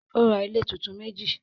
Ó ra ilé tuntun meji